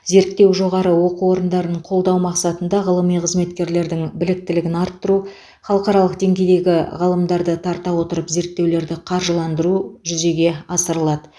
зерттеу жоғары оқу орындарының қолдау мақсатында ғылыми қызметкерлердің біліктілігін арттыру халықаралық деңгейдегі ғалымдарды тарта отырып зерттеулерді қаржыландыру жүзеге асырылады